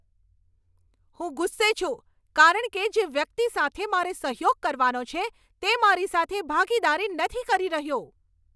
હું ગુસ્સે છું કારણ કે જે વ્યક્તિ સાથે મારે સહયોગ કરવાનો છે, તે મારી સાથે ભાગીદારી નથી કરી રહ્યો.